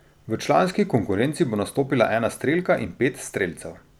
V članski konkurenci bo nastopila ena strelka in pet strelcev.